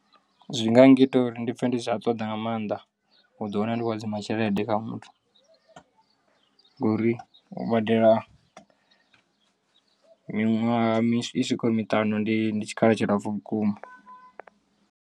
Zwi nga ngita uri ndi pfhe ndi si tsha ṱoḓa nga maanḓa u ḓi wana ndi khou hadzima tshelede kha muthu ngori u badela miṅwaha i swikaho miṱanu ndi ndi tshikhala tshilapfu vhukuma.